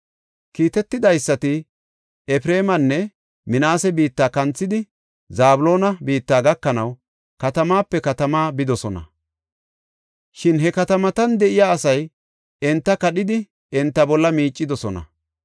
Kiitetidaysati Efreemanne Minaase biitta kanthidi Zabloona biitta gakanaw katamaape katamaa bidosona. Shin he katamatan de7iya asay enta kadhidi enta bolla miicidosona.